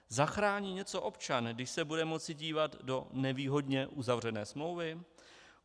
Zachrání něco občan, když se bude moci dívat do nevýhodně uzavřené smlouvy?